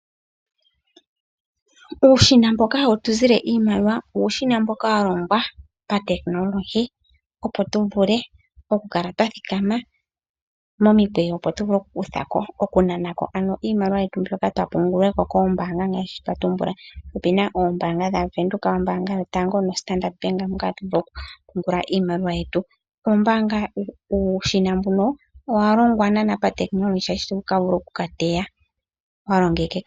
Uushina mboka hawu tu zile iimaliwa uushina mboka wa longwa patekinolohi, opo tu vule okukala twa thikama momikweyo, opo tu vule okunana ko iimaliwa yetu mbyoka twa pungula ko koombaanga ngaashi ndhi twa tumbula. Opu na oombaanga yaVenduka, ombaanga yotango noStandard Bank moka hatu vulu okupungula iimaliwa yetu. Uushina mbuno owa longwa pa tekinolohi, oshoka ito vulu oku ka teya. Wa longekeka.